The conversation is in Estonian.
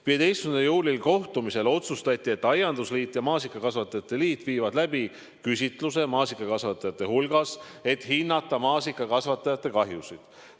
15. juuli kohtumisel otsustati, et aiandusliit ja maasikakasvatajate liit viivad läbi küsitluse maasikakasvatajate hulgas, et hinnata maasikakasvatajate kahjusid.